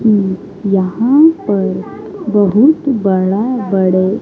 यहां पर बहुत बड़ा बड़े--